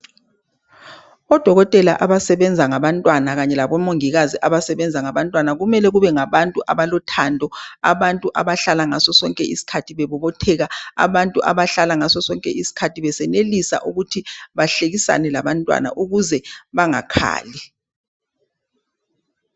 Odokotela abasebenza ngabantwana kanye labomongikazi abasebenza ngabantwana . Kumele kube ngabantu abalothando . Abantu abahlala ngaso sonke isikhathi bebobotheka . Abantu abahlala ngaso iskhathi besenelisa ukuthi bahlekisane labantwana ukuze bangakhali .